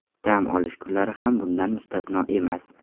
Dam olish kunlari ham bundan mustasno emas.